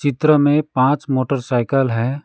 चित्र में पांच मोटरसाइकिल है।